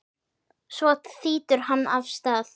Svo þýtur hann af stað.